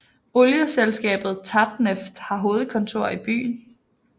Olieselskabet Tatneft har hovedkontor i byen